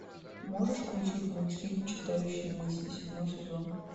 можешь включить мультфильм читающий мысли седьмой сезон